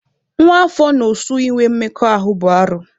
Nwa afọ na osu ịnwe mmekọ ahụ bụ arụ.